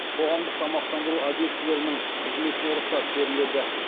қоғамдық тамақтандыру объектілерінің қызметіне рұқсат беріледі